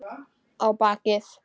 Á bakið.